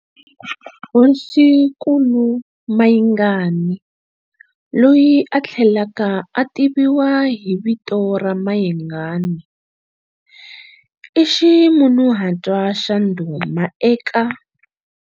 Hosinkulu Mayingani loyi a tlhelaka a tiviwa hi vito ra Mayengani i ximunhuhatwa xa ndhuma eka.